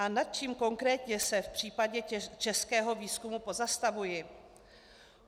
A nad čím konkrétně se v případě českého výzkumu pozastavuji?